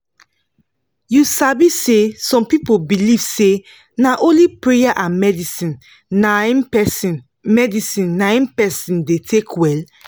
u sabi say some people believe say na only praya and medicine naim persin medicine naim persin da take welll